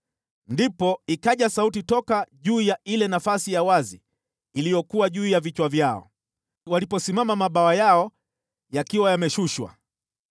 Ndipo ikaja sauti toka juu ya ile nafasi ya wazi iliyokuwa juu ya vichwa vyao, waliposimama mabawa yao yakiwa yameshushwa.